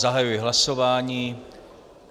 Zahajuji hlasování.